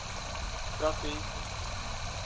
trafik